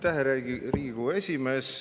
Aitäh, hea Riigikogu esimees!